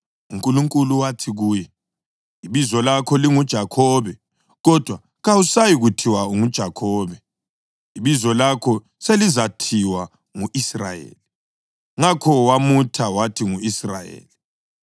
UNkulunkulu wathi kuye, “Ibizo lakho linguJakhobe, kodwa kawusayi kuthiwa unguJakhobe; ibizo lakho selizathiwa ungu-Israyeli.” Ngakho wamutha wathi ngu-Israyeli.